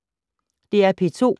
DR P2